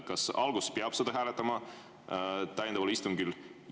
Kas alguses peab seda hääletama täiendaval istungil?